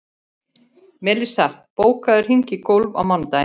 Melissa, bókaðu hring í golf á mánudaginn.